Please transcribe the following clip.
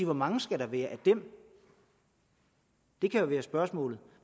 hvor mange skal der være af dem det kan jo være spørgsmålet